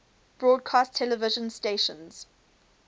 broadcast television stations